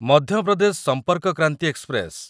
ମଧ୍ୟ ପ୍ରଦେଶ ସମ୍ପର୍କ କ୍ରାନ୍ତି ଏକ୍ସପ୍ରେସ